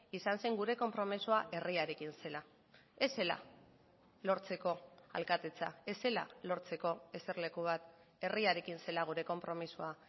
izan zen gure konpromisoa herriarekin zela ez zela lortzeko alkatetza ez zela lortzeko eserleku bat herriarekin zela gure konpromisoa